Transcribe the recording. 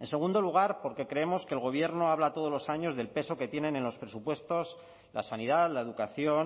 en segundo lugar porque creemos que el gobierno habla todos los años del peso que tienen en los presupuestos la sanidad la educación